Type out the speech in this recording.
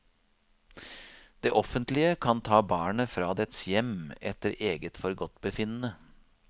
Det offentlige kan ta barnet fra dets hjem etter eget forgodtbefinnende.